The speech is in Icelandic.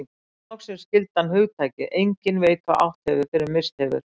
Nú loksins skildi hann hugtakið enginn veit hvað átt hefur fyrr en misst hefur.